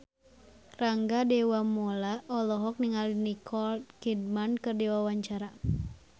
Rangga Dewamoela olohok ningali Nicole Kidman keur diwawancara